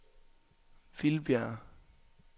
Vildbjerg